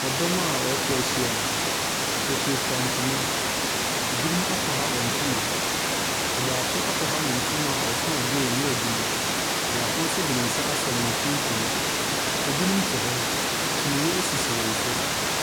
Dɔm a wɔatwa ahyia. Wɔfirafira ntoma. Binom akwaha wɔn ntoma. Ɔbaako akwaha ne ntoma a ɔso adeɛ a nwira gu mu. Baako nso de ne nsa asɔ ne mfimfini. Binom te hɔ. Kyiniiɛ sisi wɔn so.